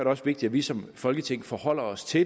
også vigtigt at vi som folketing forholder os til